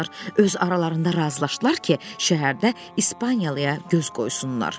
Öz aralarında razılaşdılar ki, şəhərdə ispaniliyaya göz qoysunlar.